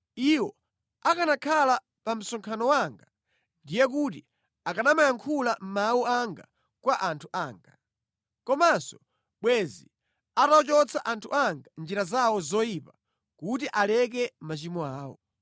Iwo akanakhala pa msonkhano wanga ndiye kuti akanamayankhula mawu anga kwa anthu anga. Komanso bwenzi atawachotsa anthu anga mʼnjira zawo zoyipa kuti aleke machimo awo.”